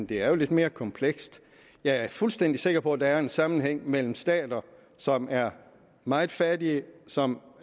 det er jo lidt mere komplekst jeg er fuldstændig sikker på at der er en sammenhæng mellem stater som er meget fattige som